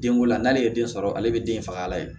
Den ko la n'ale ye den sɔrɔ ale bɛ den fagala ye